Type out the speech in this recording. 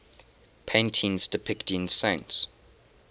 paintings depicting saints